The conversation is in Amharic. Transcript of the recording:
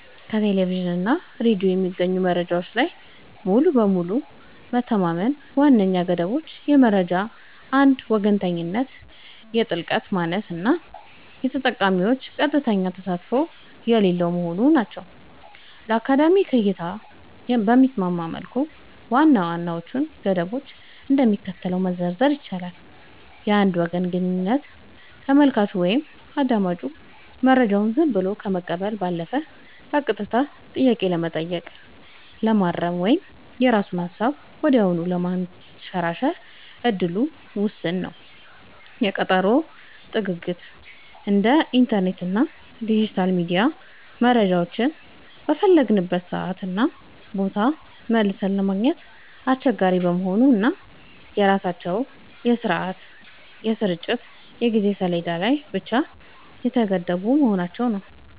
ከቴሌቪዥን እና ሬዲዮ በሚገኙ መረጃዎች ላይ ሙሉ በሙሉ መተማመን ዋነኛ ገደቦቹ የመረጃ አንድ ወገንተኝነት፣ የጥልቀት ማነስ እና የተጠቃሚዎች ቀጥተኛ ተሳትፎ የሌለው መሆኑ ናቸው። ለአካዳሚክ እይታ በሚስማማ መልኩ ዋና ዋናዎቹን ገደቦች እንደሚከተለው መዘርዘር ይቻላል፦ የአንድ ወገን ግንኙነት : ተመልካቹ ወይም አዳማጩ መረጃውን ዝም ብሎ ከመቀበል ባለፈ በቀጥታ ጥያቄ ለመጠየቅ፣ ለማረም ወይም የራሱን ሃሳብ ወዲያውኑ ለማንሸራሸር እድሉ ውስን ነው። የቀጠሮ ጥግግት : እንደ ኢንተርኔት እና ዲጂታል ሚዲያ መረጃዎችን በፈለግንበት ሰዓትና ቦታ መልሰን ለማግኘት አስቸጋሪ መሆኑ እና በራሳቸው የስርጭት የጊዜ ሰሌዳ ላይ ብቻ የተገደቡ መሆናቸው።